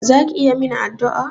Za ki iya min addu'a?